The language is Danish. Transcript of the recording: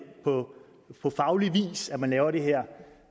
på faglig vis at man laver det her